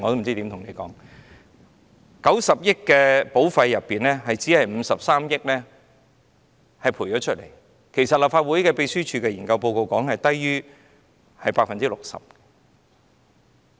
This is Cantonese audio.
在90億元的保費中，只賠償了53億元，立法會秘書處的研究報告指出數字是低於 60%。